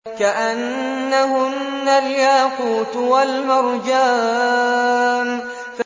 كَأَنَّهُنَّ الْيَاقُوتُ وَالْمَرْجَانُ